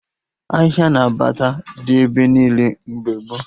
Ahịa na bata dị ebe niile mgbe gboo